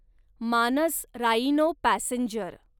Manas rhino passenger